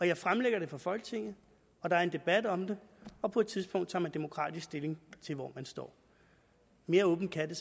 jeg fremlægger det for folketinget der er en debat om det og på et tidspunkt tager man demokratisk stilling til hvor man står mere åbent kan det